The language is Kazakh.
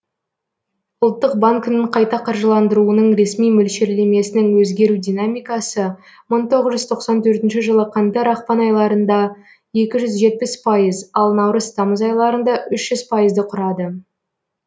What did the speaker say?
ұлттық банкінің қайта қаржыландыруының ресми мөл шерлемесінің өзгеру динамикасы мың тоғыз жүз тоқсан төртінші жылы қаңтар ақпан айларында екі жүз жетпіс пайыз ал наурыз тамыз айларында үш жүз пайызды құрады